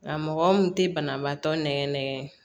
A mɔgɔ mun tɛ banabaatɔ nɛkɛ nɛgɛn